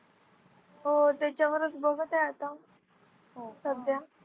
हो त्याच्यावरच बघत आहे आता सध्या.